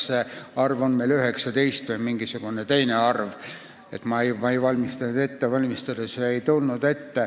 See arv on meil praegu 19.